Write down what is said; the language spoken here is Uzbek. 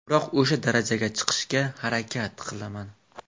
Biroq o‘sha darajaga chiqishga harakat qilaman.